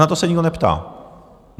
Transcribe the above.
Na to se nikdo neptá.